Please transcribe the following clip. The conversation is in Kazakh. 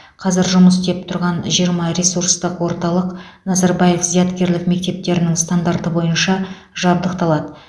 қазір жұмыс істеп тұрған жиырма ресурстық орталық назарбаев зияткерлік мектептерінің стандарты бойынша жабдықталады